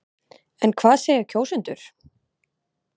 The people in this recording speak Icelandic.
En hvað segja kjósendur?